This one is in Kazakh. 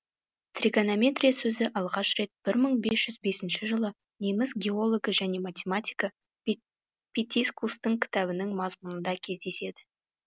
тригонометрия сөзі алғаш рет бір мың бес жүз бесінші жылы неміс геологы және математигі питискустың кітабының мазмұнында кездеседі